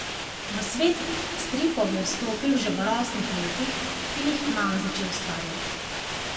V svet stripov je vstopil že v rosnih letih in jih kmalu začel ustvarjati.